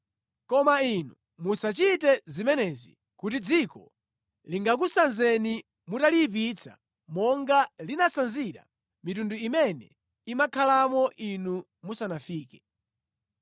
Koma inu musachite zimenezi kuti dziko lingakusanzeni mutaliyipitsa monga linasanzira mitundu imene imakhalamo inu musanafike.